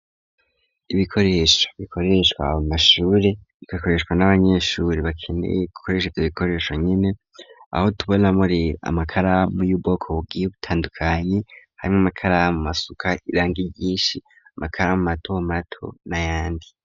Ibikoresho bikoreshwa abamashure igakoreshwa n'abanyeshure bakeneye gukoresheza ivyo bikoresho nyene aho tubona muri amakaramu yubwoko bugiye butandukanye hamwe amakaramu asuka iranga ryinshi amakara mu mato mato na yandi.